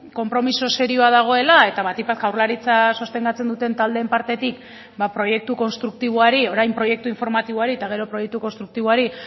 konpromiso serioa dagoela eta batik bat jaurlaritza sostengatzen duten taldeen partetik ba proiektu konstruktiboari orain proiektu informatiboari eta gero proiektu konstruktiboari